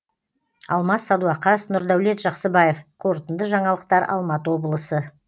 алмас садуақас нұрдәулет жақсыбаев қорытынды жаңалықтар алматы облысы